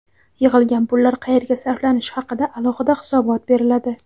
Yig‘ilgan pullar qayerga sarflanishi haqida alohida hisobot beriladi.